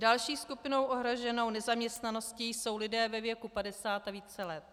Další skupinou ohroženou nezaměstnaností jsou lidé ve věku 50 a více let.